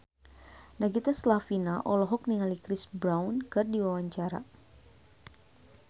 Nagita Slavina olohok ningali Chris Brown keur diwawancara